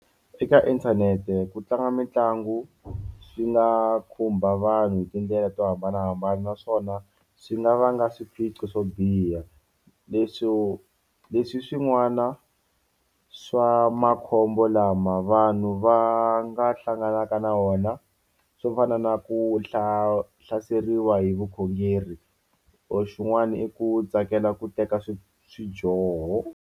Eka inthanete ku tlanga mitlangu swi nga khumba vanhu hi tindlela to hambanahambana naswona swi nga vanga swiphiqo swo biha leswo leswi swin'wana swa makhombo lama vanhu va nga hlanganaka na wona swo fana na ku hlaseriwa hi vukhongeri or xin'wana i ku tsakela ku teka swi swidyoho.